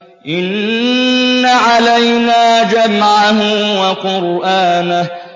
إِنَّ عَلَيْنَا جَمْعَهُ وَقُرْآنَهُ